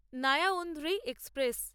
Narayanadri express